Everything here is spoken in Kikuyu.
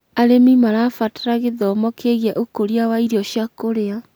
arĩmi marabatara gĩthomo kĩgiĩ ũkũria wa irio cia kũria.